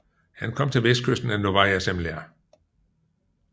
Han kom til vestkysten af Novaja Zemlja